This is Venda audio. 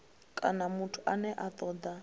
kana muthu ane a toda